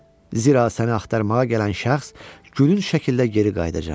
Zira səni axtarmağa gələn şəxs gücün şəkildə geri qayıdacaq.